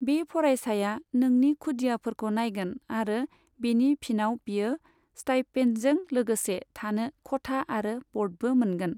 बे फरायसाया नोंनि खुदियाफोरखौ नायगोन आरो बेनि फिनाव बियो स्टाइपेन्डजों लोगोसे थानो खथा आरो ब'र्डबो मोनगोन।